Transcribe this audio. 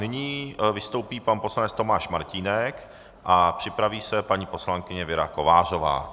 Nyní vystoupí pan poslanec Tomáš Martínek a připraví se paní poslankyně Věra Kovářová.